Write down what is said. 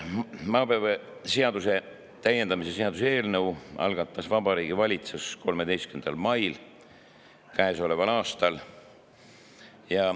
Maapõueseaduse täiendamise seaduse eelnõu algatas Vabariigi Valitsus 13. mail käesoleval aastal.